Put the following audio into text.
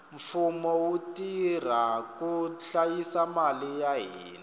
mfumo wu tirha ku hlayisa mali ya hina